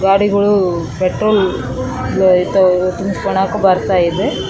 ಗಾಡಿಗಳು ಪೆಟ್ರೋಲ್ ವ ತ ತುಂಬ್ಸ್ಕೊನಾಕ ಬರ್ತಾ ಇದೆ .